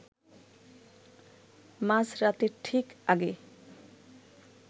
মাঝরাতের ঠিক আগে